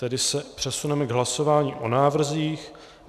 Tedy se přesuneme k hlasování o návrzích.